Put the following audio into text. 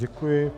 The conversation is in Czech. Děkuji.